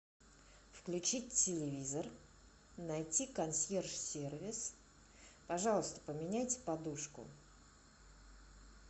включить телевизор найти консьерж сервис пожалуйста поменяйте подушку